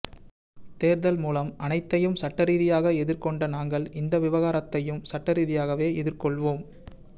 தேர்தல் முதல் அனைத்தையும் சட்டரீதியாக எதிர்கொண்ட நாங்கள் இந்த விவகாரத்தையும் சட்டரீதியாகவே எதிர்கொள்வோம்